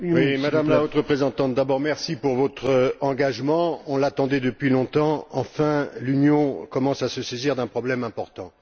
Monsieur le Président, Madame la Haute représentante, d'abord, merci pour votre engagement, nous l'attendions depuis longtemps. Enfin, l'Union commence à se saisir d'un problème important!